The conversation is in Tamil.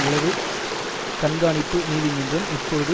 உளவுக் கண்காணிப்பு நீதிமன்றம் இப்பொழுது